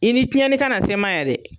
I ni tiɲɛni ka na se n ma yan dɛ!